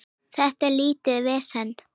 Þetta er lítið vesen.